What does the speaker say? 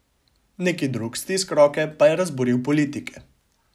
Neki drug stisk roke pa je razburil politike.